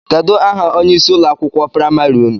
Kedụ aha onye ịsị ụlọ akwụkwọ praịmarị ụnụ?